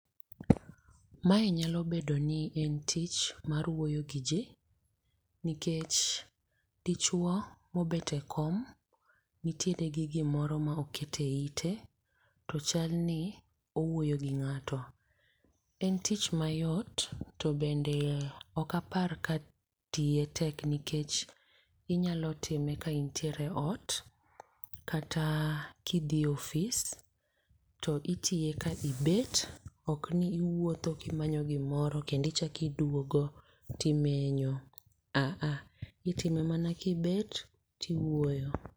Mae nyalo bedo ni en tich mar wuoyo gi ji, nikech dichwo mobet e kom nitie gi gimoro ma okete ite, to chal ni owuoyo gi ng'ato. En tich mayot to bende ok apar ka tiye tek nikech inyalo time ka intiere e ot, kata kidhi e office. To itiye ka ibet, ok ni iwuotho ka imanyo gimoro kendo ichak iduogo to imenyo, a a, itime mana kibet, tiwuoyo.